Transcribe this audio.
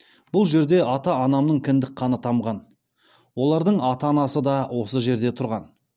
бұл жерде ата анамның кіндік қаны тамған олардың ата анасы да осы жерде тұрған